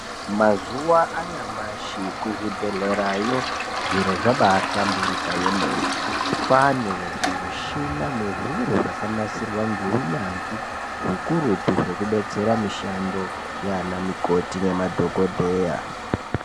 Mazuwa anyamashi kuzvibhehlerayo zviro zvabahlamburuka kwemene. Kwane zvimushina nezviro zvakanasirwa neunyanzvi hukurutu zveidetsera mishando yanamukoti nemadhokodheya.